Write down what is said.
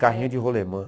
Carrinho de rolemã.